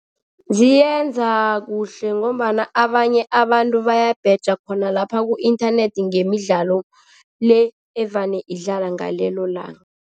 Ziyenza kuhle ngombana abanye abantu bayabheja khona lapha ku-inthanethi ngemidlalo le evane idlala ngalelo langa.